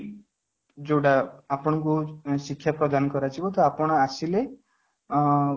ଯୋଉଟା ଆପଣଙ୍କୁ ଶିକ୍ଷା ପ୍ରଦାନ କରାଯିବ ଯୋଉଟା ଆପଣ ଆସିଲେ ଆଁ